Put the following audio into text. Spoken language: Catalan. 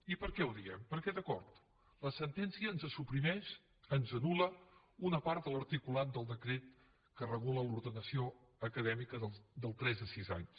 i per què ho diem perquè d’acord la sentència ens suprimeix ens anul·la una part de l’articulat del decret que regula l’ordenació acadèmica del tres a sis anys